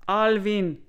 Alvin!